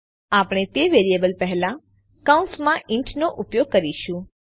આપણે તે વેરિયેબલ પહેલા કૌંસ માં ઇન્ટ નો ઉપયોગ કરી કરીશું